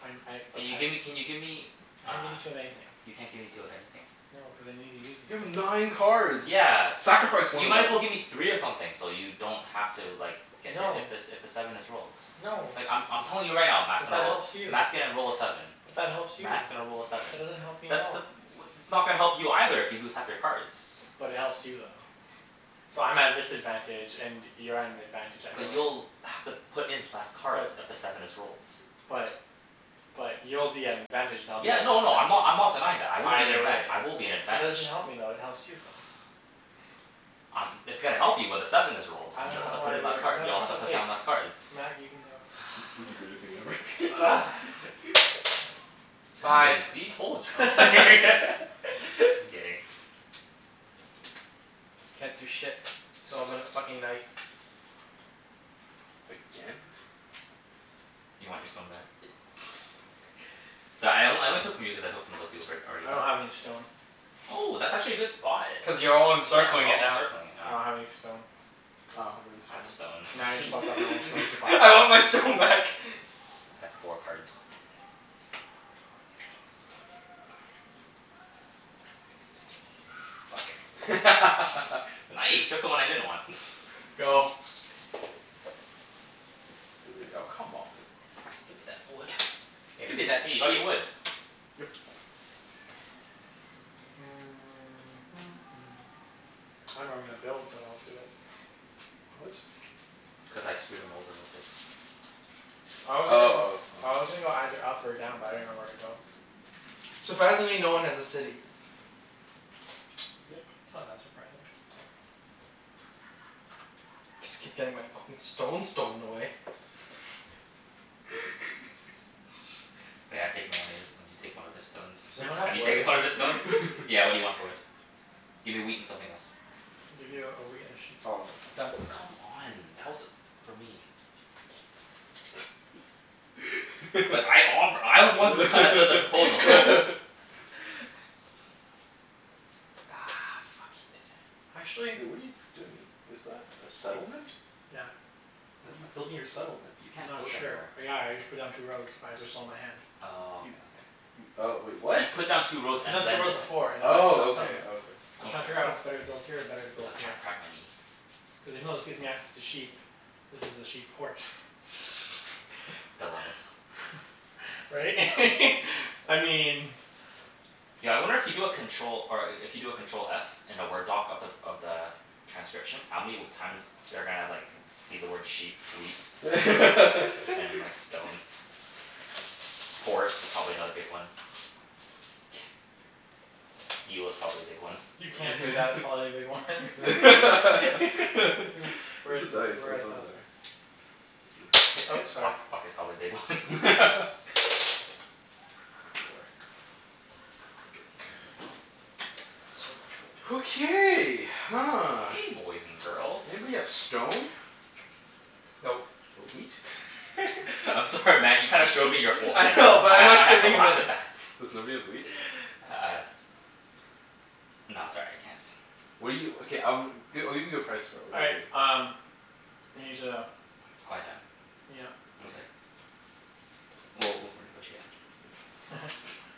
I n- I, like, Can you I gimme, can you give me I uh, can't give you two of anything. you can't give me two of anything? No, cuz I need to use these You have things. nine cards! Yeah. Sacrifice You one of might them. as well give me three of something so you don't have to like get if No. if the s- if the seven is rolled. No. Like, I'm I'm telling you right now, Mat's Cuz gonna that roll helps you. Mat's gonna roll a seven. But that helps you. Mat's gonna roll a seven. That doesn't help me at That the all. th- what that's not gonna help you either if you lose half your cards. But it helps you, though. So, I'm at a disadvantage and you're at an advantage either But way. you'll have to put in less But cards if the seven is rolled. But But you'll be at an advantage and I'll be Yeah, at a no no, I'm disadvantage. not, I'm not denying that. I will be in Either advantag- way. I will be in But that doesn't advantage. help me though. It helps you, though. I'm, it's gonna help you when the seven is rolled. I don't You'll have know to put why in less we're, card, no, you'll have it's to put okay. down less cards. Mat, you can go. This this is greatest thing ever. Seven. Sive. See? Told y- I'm kidd- I'm kidding. Can't do shit, so I'm gonna fucking knight. Again? You want your stone back? Sorry, I on- I only took from you cuz I took from those two albr- I already. don't have any stone. Oh, that's actually a good spot. Cuz you're all Yeah, we're encircling it all now. encircling it I now. don't have any stone. I don't have any I have a stone. Now you just fucked up my only stone. stone supply. I want my stone back. I have four cards. Fuck. Nice! Took the one I didn't want. Go. Three. Oh, come on. Give me that wood. Hey Give me there's a, that hey, you got sheep. your wood. Yep. I dunno where I'm gonna build, but I'll do it. What? Cuz I screwed him over with this. I was Oh, oh, gonna go oh. I was gonna go either up or down, but I didn't know where to go. Surprisingly, no one has a city. Yep. It's not that surprising. Just keep getting my fucking stone stolen away. taken one of his, now you take one of his stones. Does anyone have Have you wood? taken one of his stones? Yeah, what do you want for wood? Give me wheat and something else. I'll give you a wheat and a sheep. Oh, I'm done. Done. Come on, tell us, for me. But I offe- I was the one who kinda said the proposal. Ah, fuck. He did it. Actually Hey, what are you doing? Is that a settlement? Yeah. A How are you what? building your settlement? You I'm can't not build sure. anywhere. Yeah, I just put down two roads, but I just sold my hand. Oh, You okay okay. You oh, wait. What? He put down two I roads put down and two then roads the set- before and now I'm building a Oh, okay. settlement. Okay. I'm I'm trying to sorry. figure out Oh. if it's better to build here or better to I was build trying here. to crack my knee. Cuz even though this gives me access to sheep this is a sheep port. Dilemmas. Right? I mean Yo, I wonder if you do a control, or a- if you do a control f in a Word doc of the of the transcription, how many w- times they're gonna like see the word sheep, wheat and like stone? Port is probably another big one. Steel is probably a big one. You can't do that, it's probably a big one. Where's He's, where's the the, dice? Oh, where, it's over oh there. Thank you. Oops, Fuck, sorry. fuck is probably a big one. Four. Dirk. Jerk. So much wood. Okay, huh. Okay, boys and girls. Anybody have stone? Nope. Or wheat? I'm sorry Mat, you kinda showed me your whole I hand know, but I I'm have I not have to giving him laugh any. at that. Does nobody have wheat? Uh No, sorry. I can't. What do you, okay, um, g- I'll give you a good price for it. All What do you right, need? um we need to Quiet down? Yep. Mkay. Well, we'll renegotiate after. Yeah.